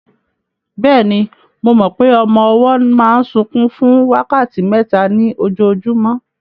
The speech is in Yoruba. Bẹ́ẹ̀ni, mo mọ pé ọmọ ọwọ́ máa ń sunkún fún wákàtí mẹ́ta ní ojúmọ́